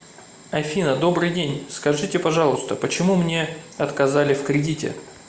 афина добрый день скажите пожалуйста почему мне отказали в кредите